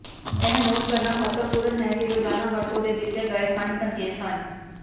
ਇਹ ਨੋਟ ਕਰਨਾ ਮਹੱਤਵਪੂਰਨ ਹੈ ਕਿ ਰੋਜ਼ਾਨਾ ਵਰਤੋਂ ਦੇ ਦਿੱਤੇ ਗਏ ਖੰਡ ਸੰਕੇਤ ਹਨ